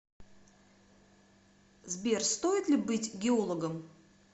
сбер стоит ли быть геологом